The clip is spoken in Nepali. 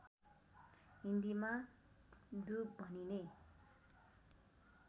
हिन्दीमा दुब भनिने